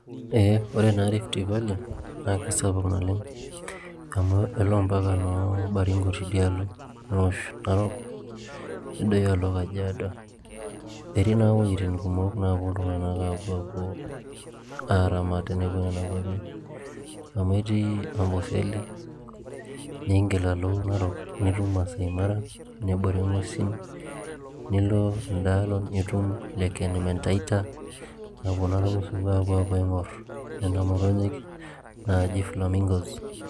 Ore naa Rift Valley naa amu elo ompaka noo Baringo tidialo neosh Narok nedoyio alo Kajiado etii naa iwuejitin kumok naapuo iltung'anak aapuo aapuo aaramat tenepuo nena kuapi amu etii Amboseli, niingil alo Naroknitum Maasai Mara nebore ing'uesin nilo enda alo nitum Lake Elementaita napuo naa irmusungu aapuo aing'orr nena motonyik naaji [csflamingo.